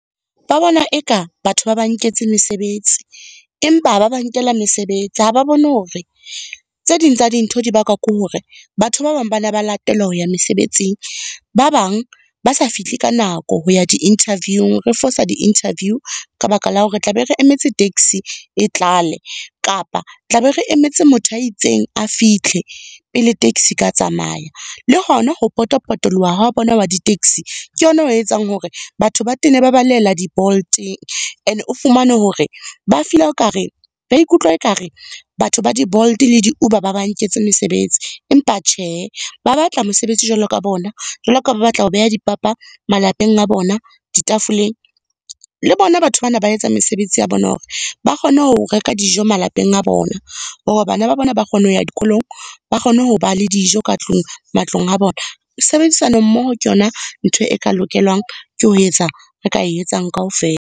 Ba bona e ka batho ba ba nketse mesebetsi, empa ha ba ba nkela mesebetsi. Ha ba bone hore, tse ding tsa dintho di bakwa ke hore batho ba bang ba ne ba latelwa ho ya mesebetsing. Ba bang ba sa fihle ka nako ho ya di interviewing, re fosa di-interview, ka baka la hore tlabe re emetse taxi e tlale, kapa tla be re emetse motho a itseng a fihle, pele taxi e ka tsamaya. Le hona ho pota-potoloha ha bona wa di-taxi, Ke yona o etsang hore batho ba tene ba balehela di Bolt-eng. E ne o fumane hore ba o kare, ba ikutlwa ekare, batho ba di-Bolt le di-Uber ba ba nketse mesebetsi. Empa tjhe, ba batla mesebetsi jwalo ka bona, jwalo ka ba batla ho beha dipapa malapeng a bona, di tafoleng. Le bona batho bana ba etsa mesebetsi ya bona hore, ba kgone ho reka dijo malapeng a bona, hore bana ba bona ba kgone ho ya dikolong, ba kgone ho ba le dijo ka tlung, matlong a bona. Sebedisano mmoho ke yona ntho e ka lokelwang ke ho etsa, re ka e etsang kaofela.